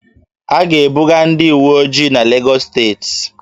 A ga-ebuga ndị uweojii n'Legọs steeti